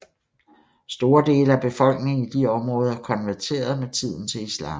Store dele af befolkningen i de områder konverterede med tiden til islam